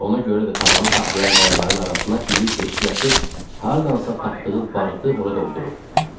Ona görə də tavanı saxlayan qayaların arasına iri deşik açıb, hardansa tapdığı barıtı ora doldurub.